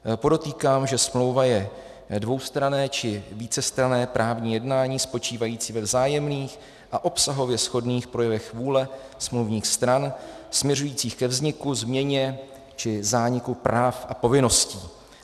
Podotýkám, že smlouva je dvoustranné či vícestranné právní jednání spočívající ve vzájemných a obsahově shodných projevech vůle smluvních stran směřujících ke vzniku, změně či zániku práv a povinností.